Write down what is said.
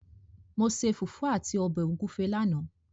Mo ṣe fùfú àti ọbẹ̀ ògúfẹ lánàá.